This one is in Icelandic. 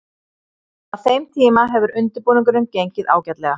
Fram að þeim tíma hefur undirbúningurinn gengið ágætlega.